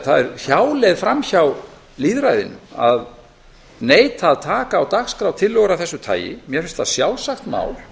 það er hjáleið framhjá lýðræðinu að neita að taka á dagskrá tillögu af þessu tagi mér finnst það sjálfsagt mál